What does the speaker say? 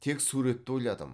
тек суретті ойладым